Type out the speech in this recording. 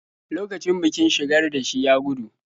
Lokacin bikin-shigar da shi ya gudu.